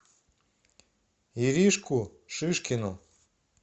иришку шишкину